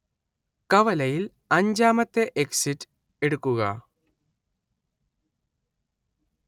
കവലയിൽ അഞ്ചാമത്തെ എക്സിറ്റ് എടുക്കുക